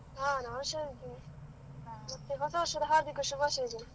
ಹಾ ನಾನು ಹುಷಾರಿದ್ದೇನೆ, ಮತ್ತೆ ಹೊಸ ವರ್ಷದ ಹಾರ್ದಿಕ ಶುಭಾಶಯಗಳು.